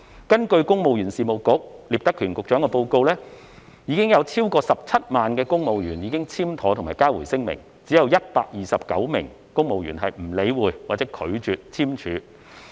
根據公務員事務局局長聶德權的報告，超過17萬名公務員已經簽妥和交回聲明，只有129名公務員不理會或拒絕簽署和交回聲明。